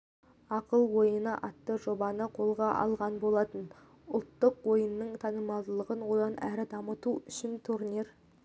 ақыл ойыны атты жобаны қолға алған болатын ұлттық ойынның танымалдығын одан әрі дамыту үшін турнир